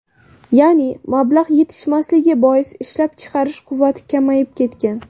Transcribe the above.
Ya’ni mablag‘ yetishmasligi bois, ishlab chiqarish quvvati kamayib ketgan.